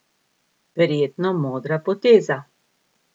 Verjetno modra poteza!